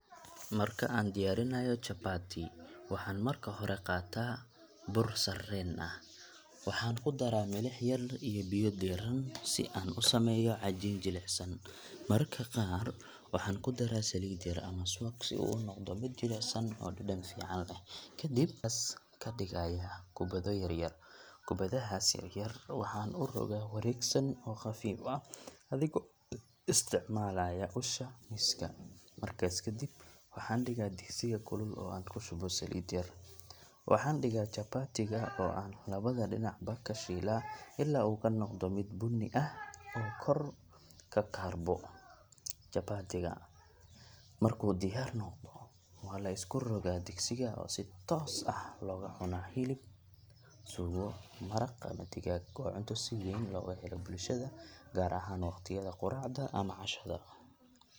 Marka aan diyaarinayo chapati, waxaan marka hore qaataa bur sarreen ah. Waxaan ku daraa milix yar iyo biyo diirran si aan u sameeyo cajiin jilicsan. Mararka qaar waxaan ku daraa saliid yar ama subag si uu u noqdo mid jilicsan oo dhadhan fiican leh. Kadib waxaan cajiinkaas ka dhigayaa kubbado yaryar. Kubbadahaas yar yar waxaan u rogaa wareegsan oo khafiif ah adigoo isticmaalaya usha miiska. Markaas ka dib, waxaan dhigaa digsiga kulul oo aan ku shubo saliid yar. Waxaan dhigaa chapati-ga oo aan labada dhinacba ka shiilaa ilaa uu ka noqdo mid bunni ah oo kor ka kaarbo. Chapati-ga markuu diyaar noqdo, waa la iska rogaa digsiga oo si toos ah loogaga cunaa hilib, suugo, maraq ama digaag. Waa cunto si weyn looga helo bulshada, gaar ahaan waqtiyada quraacda ama cashada.